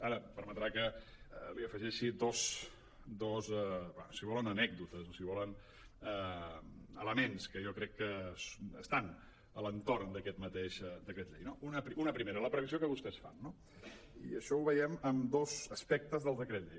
ara em permetrà que li afegeixi dos si volen anècdotes o si volen elements que jo crec que estan a l’entorn d’aquest mateix decret llei no una primera la previ·sió que vostès fan no i això ho veiem en dos aspectes del decret llei